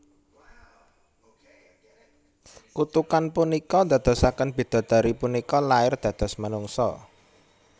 Kutukan punika ndadosaken bidodari punika lair dados manungsa